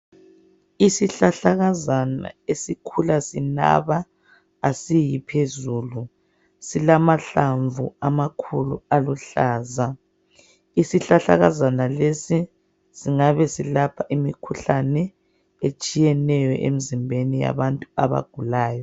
Isihlahlakazana esikhula sinaba asiyiphezulu, silamahlamvu amakhulu aluhlaza. Isihlahlakazana lesi singabesilapha imikhuhlane etshiyeneyo emzimbeni yabantu abagulayo.